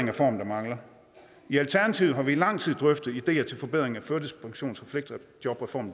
reformen der mangler i alternativet har vi i lang tid drøftet ideer til forbedringer af førtidspensions